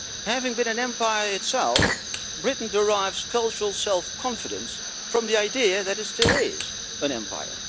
Having been an empire itself, Britain derives cultural self confidence from the idea that it is still is an empire.